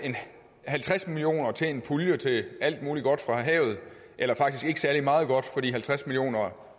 halvtreds million kroner til en pulje til alt muligt godt fra havet eller faktisk ikke særlig meget godt fordi halvtreds millioner